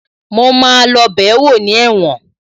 Mo máa lọ bẹ̀ẹ́wò ní ẹ̀wọ̀n